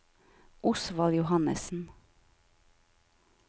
Osvald Johannessen